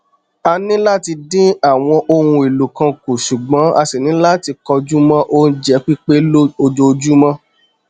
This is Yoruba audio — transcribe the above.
a ni láti dín àwọn ohun èlò kan kù ṣùgbọn a ṣì ní láti kọjú mọ oúnjẹ pípé ojoojúmọ